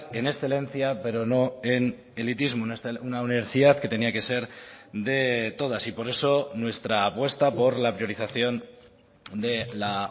en excelencia pero no en elitismo una universidad que tenía que ser de todas y por eso nuestra apuesta por la priorización de la